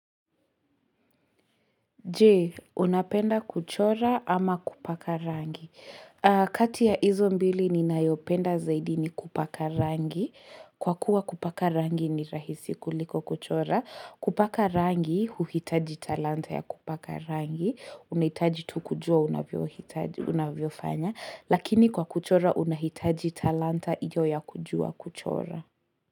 Jee, unapenda kuchora ama kupaka rangi? Kati ya hizo mbili ninayopenda zaidi ni kupaka rangi. Kwa kuwa kupaka rangi ni rahisi kuliko kuchora. Kupaka rangi, uhitaji talanta ya kupaka rangi. Unahitaji tu kujua unavyofanya. Lakini kwa kuchora unahitaji talanta hiyo ya kujua kuchora.